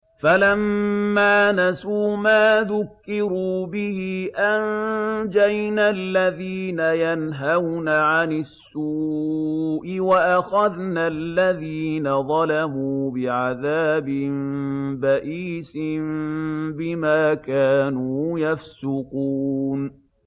فَلَمَّا نَسُوا مَا ذُكِّرُوا بِهِ أَنجَيْنَا الَّذِينَ يَنْهَوْنَ عَنِ السُّوءِ وَأَخَذْنَا الَّذِينَ ظَلَمُوا بِعَذَابٍ بَئِيسٍ بِمَا كَانُوا يَفْسُقُونَ